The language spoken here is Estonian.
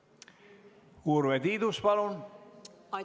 Urve Tiidus, palun!